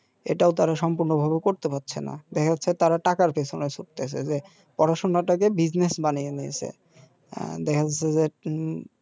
এটাও তারা সম্পূর্ণ ভাবে করতে পারছেনা দেখা যাচ্ছে তারা টাকার পিছনে ছুটতাসে যে পড়াশোনাটাকে বানিয়ে নিয়েছে আ দেখা যাচ্ছে যে